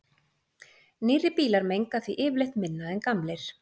nýrri bílar menga því yfirleitt minna en gamlir